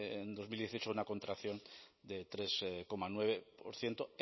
en dos mil dieciocho a una contracción de tres coma nueve por ciento